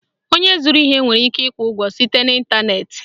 Onye zụrụ ihe nwere ike ịkwụ ụgwọ site n'Ịntanet